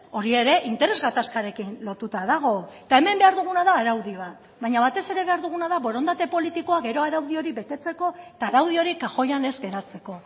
hori ere interes gatazkarekin lotuta dago eta hemen behar duguna da araudi bat baina batez ere behar duguna da borondate politikoa gero araudi hori betetzeko eta araudi hori kajoian ez geratzeko